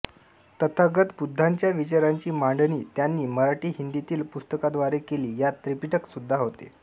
तथागत बुद्धांंच्या विचारांची मांडणी त्यांनी मराठीहिंदीतील पुस्तकांद्वारे केली यात त्रिपिटक सुद्धा होते